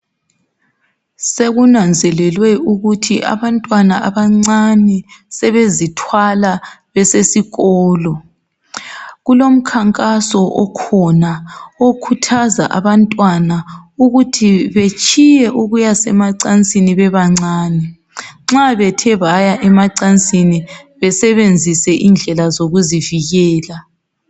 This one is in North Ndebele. Sekunanzelelwe ukuthi abantwana abancane sebezithwala besesikolo kulomkhankaso okhona okhuthaza abantwana ukut betshiye ukuya emacansini bebancane nxa bethe baya emacansini besebenzise indlela zokuzivikela